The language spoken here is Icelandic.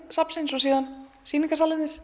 safnsins og